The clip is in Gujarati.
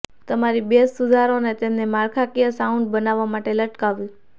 તમારી બેઝ સુધારો અને તેમને માળખાકીય સાઉન્ડ બનાવવા માટે લટકાવવું